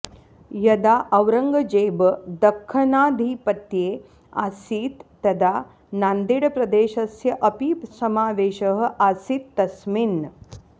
यदा औरङ्गजेब दख्खनाधिपत्ये आसीत् तदा नान्देडप्रदेशस्य अपि समावेशः आसीत् तस्मिन्